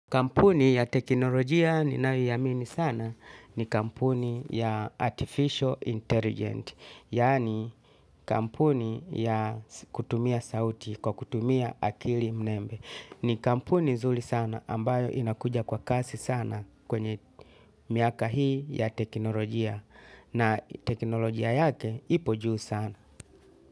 Kampuni ya teknolojia ninayoiamini sana ni kampuni ya artificial intelligence. Yaani kampuni ya kutumia sauti kwa kutumia akili mnembe. Ni kampuni zuli sana ambayo inakuja kwa kasi sana kwenye miaka hii ya teknolojia. Na teknolojia yake ipo juu sana.